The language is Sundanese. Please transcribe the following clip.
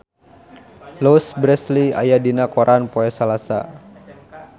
Louise Brealey aya dina koran poe Salasa